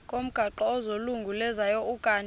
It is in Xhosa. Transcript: ngomgaqo ozungulezayo ukanti